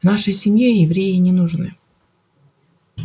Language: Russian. в нашей семье евреи не нужны